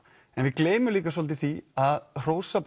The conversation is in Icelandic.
en við gleymum líka svolítið því að hrósa